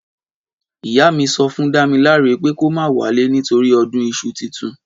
Ìyá mí sọfún dàmílàrẹ pẹ kọ mà wale nítòrí ọ̀dún ìsú títùn